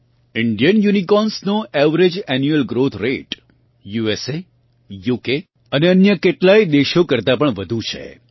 Indian યુનિકોર્ન્સનો average annual growth rate USA UK અને અન્ય કેટલાંય દેશો કરતા પણ વધુ છે